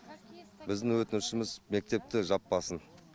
біздің өтінішіміз мектепті жаппасын